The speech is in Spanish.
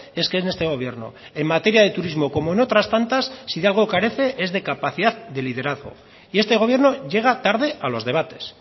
es que en este gobierno en materia de turismo como en otras tantas si de algo carece es de capacidad de liderazgo y este gobierno llega tarde a los debates